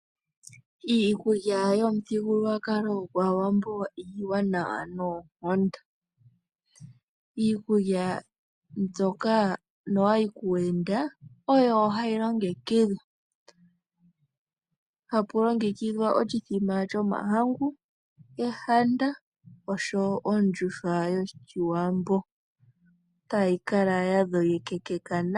Iikulya yomu thigululwakalo gwaawambo iiwanawa noonkondo. Iikulya mbyoka no wa yi kuuyenda, oyo ha yi longekidhwa, hapu longekidhwa ekaka lyoshiwambo, oshithima shomahangu osho eo ondjuhwa yoshiwambo.